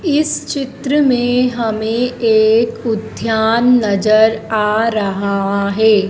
इस चित्र में हमें एक उद्यान नजर आ रहा है।